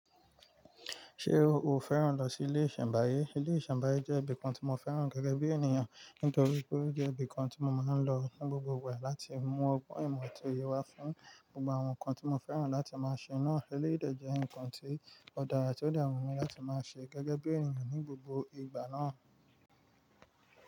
Ṣé o o fẹ́ràn lọ sí ilé ìṣẹ̀nbáyé? Ilé ìṣẹ̀nbáyé jẹ́ ibìkan tí mo fẹ́ràn gẹ́gẹ́ bí ènìyàn, nítorí pé ó jẹ́ ibìkan tí mo máa ń lọ ní gbogbo ìgbà láti mú ọgbọ́n ìmọ̀ ati oye wá fún gbogbo àwọn nkan tí mo fẹ́ràn láti máa ṣe. Eleyii dè jẹ́ ǹkan tí ó dára tí ó de wu mi láti máa ṣe gẹ́gẹ́ bí ènìyàn ní gbogbo ìgbà náà.